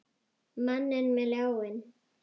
Manninn með ljáinn.